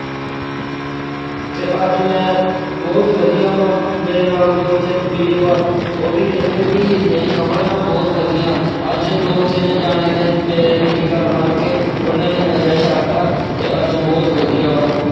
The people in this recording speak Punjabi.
ਤੇ ਅੱਜ ਮੈਂ ਬਹੁਤ ਵਧੀਆ ਵਾ, ਮੇਰੇ ਨਾਲ ਦੋ ਤਿੰਨ ਵੀਰ ਵਾ ਉਹ ਵੀ ਕਹਿੰਦੇ ਕਿ ਨਹੀਂ ਕਮਲ ਮੈਂ ਬਹੁਤ ਵਧੀਆ, ਅੱਜ ਦੋ ਤਿੰਨ ਜਾਣਿਆਂ ਨੇ ਮੇਰੇ ਅਹ ਮੇਰੀ ਗੱਲ ਮੰਨ ਕੇ ਉਹਨਾਂ ਨੇ ਨਸ਼ਾ ਛੱਡ ਤਾ, ਤੇ ਅੱਜ ਬਹੁਤ ਵਧੀਆ ਵਾ।